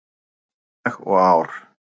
bak við dag og ár?